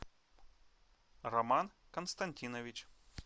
роман константинович